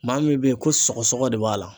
Maa min bɛ yen ko sɔgɔsɔgɔ de b'a la.